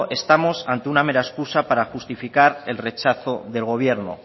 estamos ante una mera escusa para justificar el rechazo del gobierno